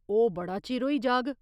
ओह् बड़ा चिर होई जाग।